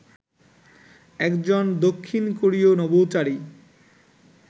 একজন দক্ষিণ কোরীয় নভোচারী